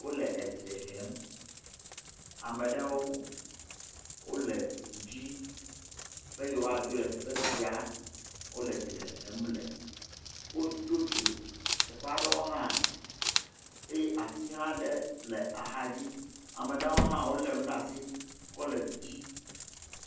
Wole edzre hem. Ame ɖewo wole edu dzi be yewoadzo le teƒe sia wole dzre hem le. Wodo dzo, teƒe aɖewo hã eye ati aɖewo hã le axadzi. Ame ɖewo hã wolé nu ɖe asi be kɔ le du dzi.